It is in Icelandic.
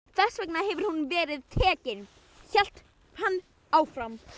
Þess vegna hefur hún verið tekin, hélt hann áfram.